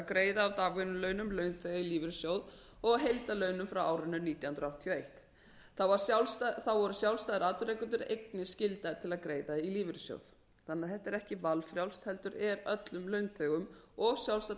greiða af dagvinnulaunum launþega í lífeyrissjóð og af heildarlaunum frá árinu nítján hundruð áttatíu og eitt þá voru sjálfstæðir atvinnurekendur einnig skyldaðir til að greiða í lífeyrissjóð þetta er því ekki valfrjálst heldur er öllum launþegum og sjálfstæðum